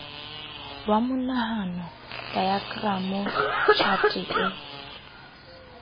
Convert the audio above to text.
wa monahano daekramo tjhate e